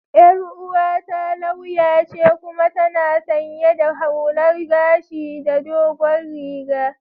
Yar uwata lauya ce kuma tana sanye da hullar gashi da dogon riga.